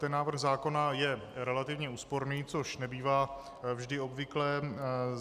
Ten návrh zákona je relativně úsporný, což nebývá vždy obvyklé.